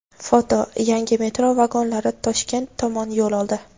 Foto: yangi metro vagonlari Toshkent tomon yo‘l oldi.